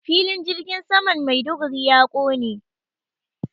Filin jirgin saman Maiduguri ya ƙone.